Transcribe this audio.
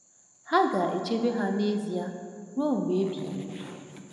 Ha ga-echebe ha n’ezie ruo mgbe ebighị ebi…